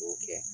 K'o kɛ